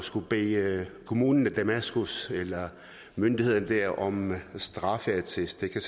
skulle bede kommunen i damaskus eller myndighederne der om en straffeattest det kan